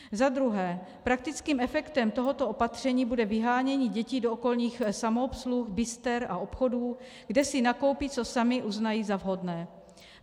Za druhé, praktickým efektem tohoto opatření bude vyhánění dětí do okolních samoobsluh, bister a obchodů, kde si nakoupí, co samy uznají za vhodné.